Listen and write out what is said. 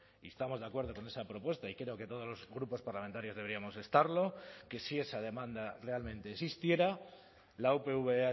y estamos de acuerdo con esa propuesta y creo que todos los grupos parlamentarios deberíamos estarlo que si esa demanda realmente existiera la upv